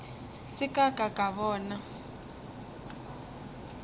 se ka ka ka bona